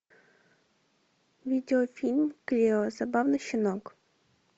видеофильм клео забавный щенок